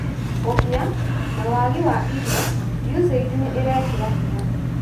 ũkĩa, na wagi wa irio, USAID nĩ ĩrekĩra hinya